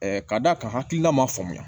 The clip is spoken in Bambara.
k'a d'a ka hakilina ma faamuya